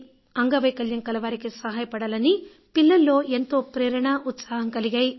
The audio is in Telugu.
అంగవైకల్యం కలవారికి సహాయపడాలని పిల్లల్లో ఎంతో ప్రేరణ ఉత్సాహం కలిగాయి